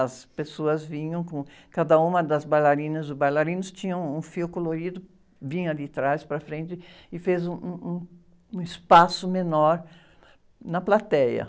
As pessoas vinham, com, cada uma das bailarinas ou bailarinos tinha um, um fio colorido, vinha de atrás, para frente, e fez um, um, um espaço menor na plateia.